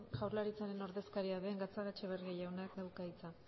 jaurlaritzaren ordezkaria den gatzagaetxebarria jaunak dauka hitza